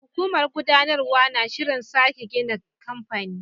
Hukumar gudanarwa na shirin sake gina kamfanin.